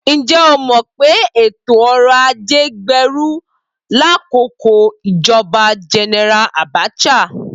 Ǹjẹ́ o mọ̀ pé ètò ọrọ̀ ajé gbèrú lákòókò ìjọba Gẹnẹra Abacha?